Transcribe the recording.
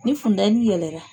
Ni fundɛni yɛlɛ la